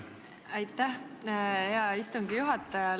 Aitäh, hea istungi juhataja!